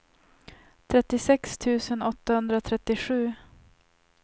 trettiosex tusen åttahundratrettiosju